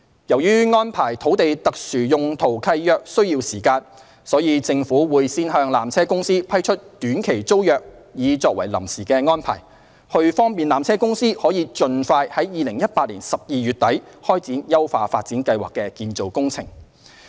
由於安排土地特殊用途契約需時，所以，政府會先向纜車公司批出短期租約作為臨時安排，以便纜車公司可盡快於2018年12月底開展優化發展計劃的建造工程。